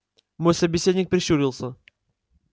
мой собеседник прищурился